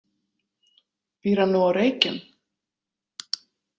Býr hann nú á Reykjum?